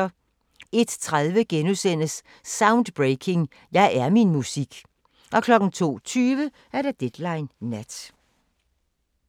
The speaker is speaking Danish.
01:30: Soundbreaking – Jeg er min musik * 02:20: Deadline Nat